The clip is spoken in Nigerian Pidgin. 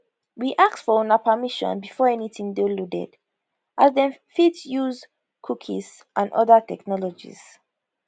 we ask for una permission before anytin dey loaded as dem fit dey use cookies and oda technologies